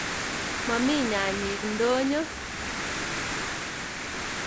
Momi nyanyik idonyo.